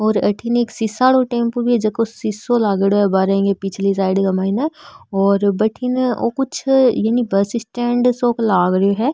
और अठीने एक सीसा आरो टेम्पू भी है झको शीशो लागेडो है बाहर ये पिछले साइड का माइन और बठीने कुछ बस स्टेण्ड सो लाग रो है।